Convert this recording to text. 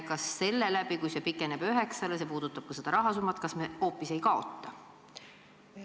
Kas seetõttu, kui see pikeneb üheksa aastani – see puudutab ka seda rahasummat – me hoopis ei kaota?